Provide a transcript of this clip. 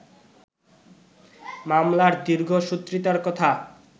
মামলার দীর্ঘসূত্রিতার কথা